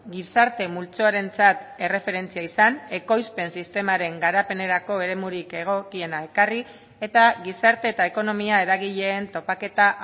gizarte multzoarentzat erreferentzia izan ekoizpen sistemaren garapenerako eremurik egokiena ekarri eta gizarte eta ekonomia eragileen topaketa